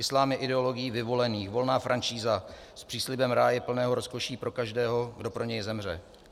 Islám je ideologií vyvolených, volná franšíza s příslibem ráje plného rozkoší pro každého, kdo pro něj zemře.